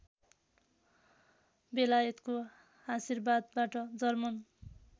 बेलायतको आशीर्वादबाट जर्मन